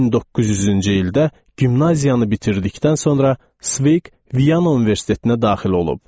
1900-cü ildə gimnaziyanı bitirdikdən sonra Sveq Viana Universitetinə daxil olub.